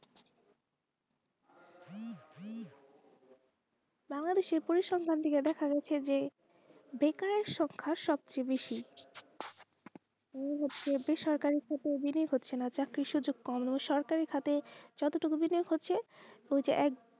বাঙালির সেই পুরুষ সন্মান দিয়ে দেখা যাচ্ছে যে বেকার সংখ্যা সব চেয়ে বেশি বেসরকারিতে চাকরির সুযোগ কম সরকারের ক্ষেত্রে যতটুকু বিলুপ্ত হচ্ছে,